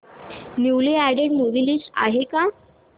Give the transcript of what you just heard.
newly added movie list आहे का